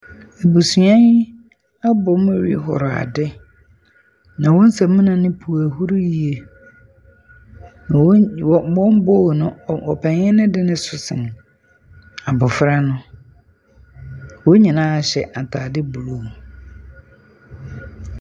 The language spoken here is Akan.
Abusua yi abom rehoro ade. Na wɔn samuna no puw ahuru yiye. Na wɔn . bowl no ɔpanin no de no so sen abofra no. Wɔn nyinaa hyɛ ataade blue.